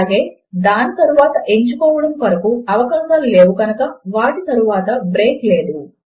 అలాగే దాని తరువాత ఎంచుకోవడము కొరకు అవకాశములు లేవు కనుక వాటి తరువాత బ్రేక్ లేదు